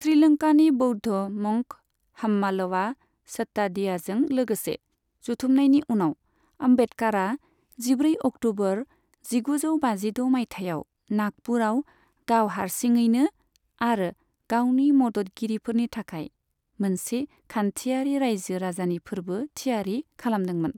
श्रीलंकानि बौद्ध मंक हाम्मालवा सद्दातिसाजों लोगोसे जथुमनायनि उनाव, आम्बेडकारआ जिब्रै अक्ट'बर जिगुजौ बाजिद' मायथाइयाव नागपुरआव गाव हारसिङैनि आरो गावनि मददगिरिफोरनि थाखाय मोनसे खान्थियारि रायजो राजानि फोरबो थियारि खालामदोंमोन।